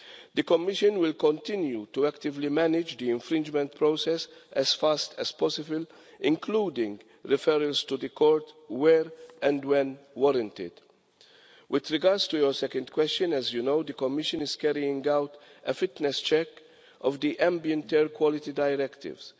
The Commission will continue to actively manage the infringement process as fast as possible, including referrals to the court where and when warranted. With regards to your second question, as you know, the Commission is carrying out a fitness check of the Ambient Air Quality Directives.